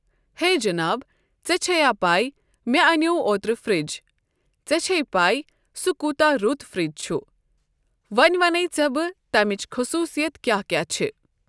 ہے جناب ژےٚ چھے پایۍ مےٚ انیاو اوترٕ فرج۔ ژےٚ چھیے پے سُہ کوٗتاہ رُت فرج چھُ۔ وۄنۍ ونے ژےٚ بہٕ تمیچ خصوصیت کیٛاہ کیٛاہ چھِ۔۔